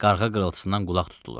Qarğa qırıltısından qulaq tutulur.